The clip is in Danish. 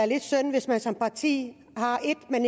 lidt synd hvis man som parti